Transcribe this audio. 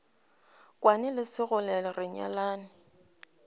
kwane le sekgole re nyalane